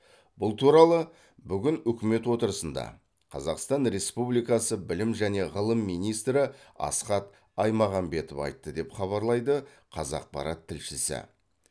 бұл туралы бүгін үкімет отырысында қазақстан республикасы білім және ғылым министрі асхат аймағамбетов айтты деп хабарлайды қазақпарат тілшісі